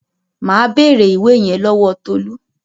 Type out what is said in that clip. Màá bèrè ìwé yẹn lọ́wọ́ Tolú.